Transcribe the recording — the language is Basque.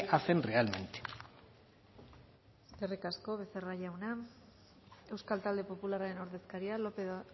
hacen realmente eskerrik asko becerra jauna euskal talde popularraren ordezkaria lópez de